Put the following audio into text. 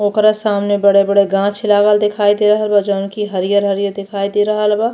ओकरा सामने बड़े-बड़े गाछ लागल दिखाई दे रहल बा। जोवन की हरियर-हरियर दिखाई दे रहल बा।